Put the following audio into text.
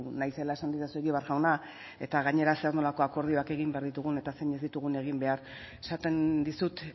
naizela esan didazu egibar jauna eta gainera zer nolako akordioak egin behar ditugun eta zein ez ditugun egin behar esaten dizut